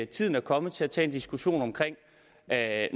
tiden er kommet til at tage en diskussion om at